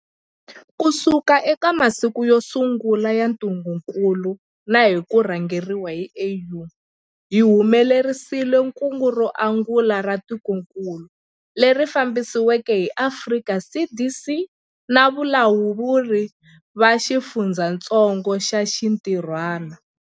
Kusuka eka masiku yo sungula ya ntungukulu na hi ku rhangeriwa hi AU, hi humelerisile kungu ro angula ra tikokulu, leri fambisiweke hi Afrika CDC na valawuri va xifundzatsongo va xintirhwana.